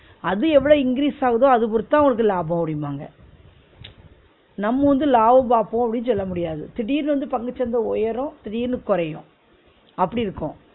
அது எவ்ளோ increase ஆகுதோ அத பொறுத்துதான் உங்களுக்கு லாபம் அப்பிடிபாங்க ம்ச் நம்ம வந்து லாபம் பாப்போம்னு அப்பிடினு சொல்ல முடியாது திடீர்ன்னு வந்து பங்குசந்த உயரூ திடீர்ன்னு குறயூ அப்பிடி இருக்கும்